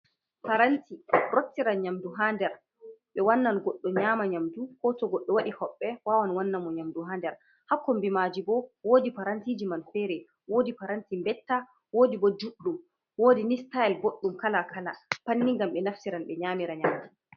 Paranti rottiran nyamdu hanɗer. Be wannan goɗɗo nyama nyamɗu. Ko to goɗɗo waɗi hoɓɓe wawan wannamo nyamɗu ha nɗer. ha kombimaji bo woɗi parantijiman fere. Woɗi paranti mbetta woɗi bo juɗɗum. woɗi ni sitael boɗɗum kala-kala panni ngam ɓe naftiran ɓe nyamira nyamɗu.